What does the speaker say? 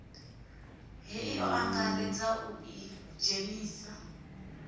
hei o angaredza u idzhenisa